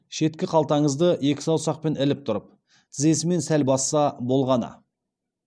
шеткі қалтаңызды екі саусақпен іліп тұрып тізесімен сәл басса болғаны